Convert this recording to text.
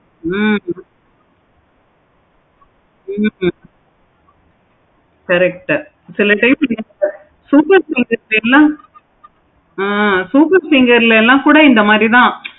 ஹம் உம் correct சில time focus finger ல கூட தான் இந்த மாதிரி